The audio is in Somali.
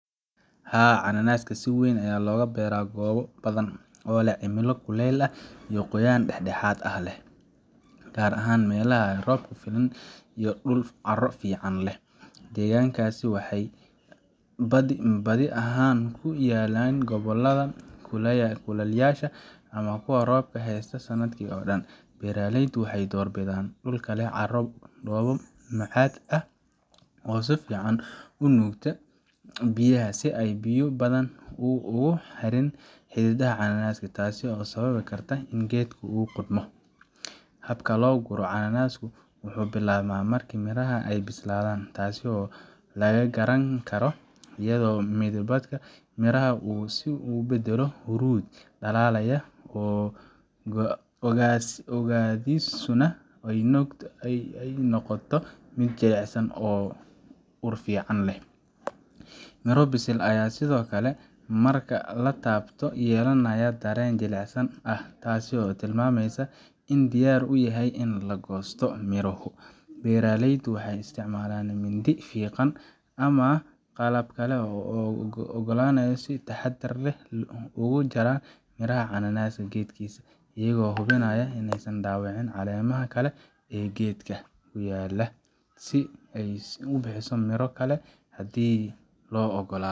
Haa, cananaaska si weyn ayaa looga beeraa goobo badan oo leh cimilo kuleyl leh oo qoyaan dhexdhexaad ah leh, gaar ahaan meelaha leh roob ku filan iyo dhul carro fiican leh. Deegaannadaas waxay badi ahaan ku yaalliin gobollada kulaalayaasha ama kuwa roobka heysta sannadka oo dhan. Beeraleydu waxay door bidaan dhulka leh carro dhoobo macad ah oo si fiican u nuugta biyaha si aysan biyo badan ugu harin xididdada cananaaska, taasoo sababi karta in geedka uu qudhmo. Habka loo guro cananaaska wuxuu bilaabmaa marka miraha ay bislaadaan, taas oo la garan karo iyadoo midabka miraha uu isu beddelo huruud dhalaalaya, oogadiisuna ay noqoto mid jilicsan oo ur fiican leh. Miro bisil ah ayaa sidoo kale marka la taabto yeelanaya dareen jilicsanaan ah, taas oo tilmaamaysa in ay diyaar u yihiin in la goosto. Beeraleydu waxay isticmaalaan mindi fiiqan ama qalab kale oo goosasho si ay si taxaddar leh uga jaraan miraha cananaaska geedkiisa, iyagoo hubinaya in aysan dhaawicin caleemaha kale ee geedka, si uu u sii bixiyo miro kale haddii loo oggolaado.